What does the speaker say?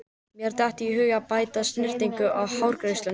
Mér datt í hug að bæta snyrtingu við hárgreiðsluna.